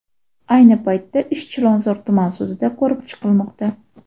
Ayni paytda ish Chilonzor tuman sudida ko‘rib chiqilmoqda.